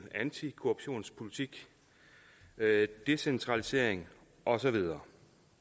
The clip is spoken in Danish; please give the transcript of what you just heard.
antikorruptionspolitik decentralisering og så videre